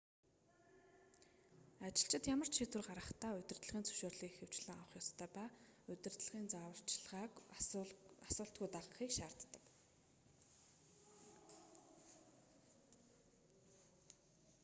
ажилчид ямар ч шийдвэр гаргахдаа удирдлагын зөвшөөрлийг ихэвчлэн авах ёстой ба удирдлагын зааварчилгааг асуултгүй дагахыг шаарддаг